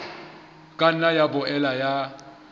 ka nna ya boela ya